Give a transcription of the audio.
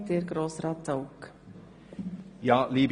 Danach sind die Einzelvotanten an der Reihe.